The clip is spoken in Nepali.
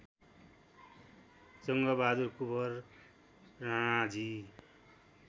जङ्गबहादुर कुँवर राणाजी